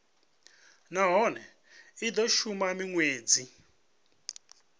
nahone i do shuma minwedzi